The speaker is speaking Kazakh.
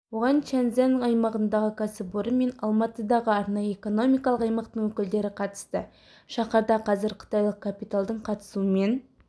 оған чяньзянь аймағындағы кәсіпорын мен алматыдағы арнайы экономикалық аймақтың өкілдері қатысты шаһарда қазір қытайлық капиталдың қатысуымен